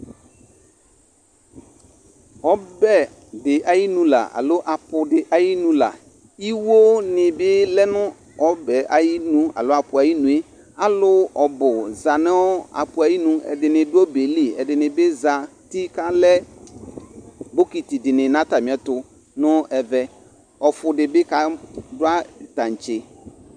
Ɔbɛ dɩ ayinu la alo apʋ dɩ ayinu la Iwonɩ bɩ lɛ ɔbɛ yɛ ayinu alo apʋ yɛ ayinu yɛ Alʋ ɔbʋ za nʋ apʋ ayinu Ɛdɩnɩ dʋ ɔbɛ yɛ li, ɛdɩnɩ bɩ zati kʋ alɛ bokiti dɩnɩ nʋ atamɩɛtʋ nʋ ɛvɛ Ɔfʋ dɩ bɩ ka dʋ tantse